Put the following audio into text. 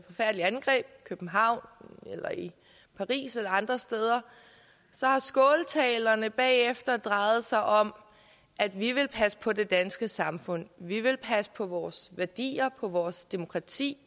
angreb i københavn eller i paris eller andre steder har skåltalerne bagefter drejet sig om at vi vil passe på det danske samfund at vi vil passe på vores værdier vores demokrati